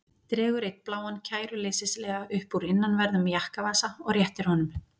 Dregur einn bláan kæruleysislega upp úr innanverðum jakkavasa og réttir honum.